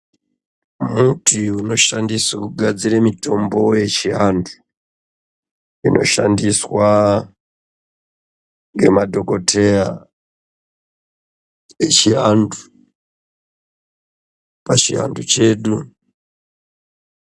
Muti unoshandiswa kugadzira mutombo yechiantu pavhiantu chedu inoshandiswa ngemadokodheya yechiantu pachivantu chedu.